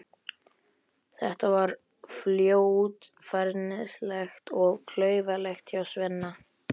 Þetta var fljótfærnislegt og klaufalegt hjá Svenna.